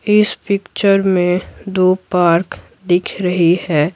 इस पिक्चर में दो पार्क दिख रही है।